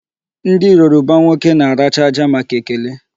Ndị Yoruba nwoke na-aracha aja màkà ekele.